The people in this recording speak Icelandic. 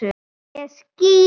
Ég skýt!